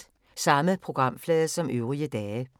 Samme programflade som øvrige dage